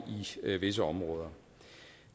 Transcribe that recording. visse områder